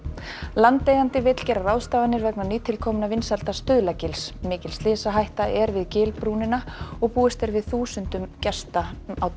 landeigandi vill gera ráðstafanir vegna nýtilkominna vinsælda mikil slysahætta er við gilbrúnina og búist er við þúsund gestum á